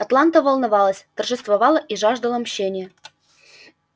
атланта волновалась торжествовала и жаждала мщения